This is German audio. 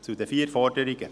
Zu den vier Forderungen.